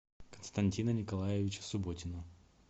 константина николаевича субботина